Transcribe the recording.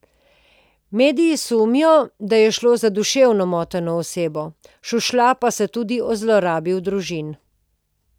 Mediji sumijo, da je šlo za duševno moteno osebo, šušlja pa se tudi o zlorabi v družini.